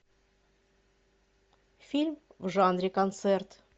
фильм в жанре концерт